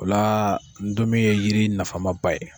O la ndomi ye yiri nafamaba ye.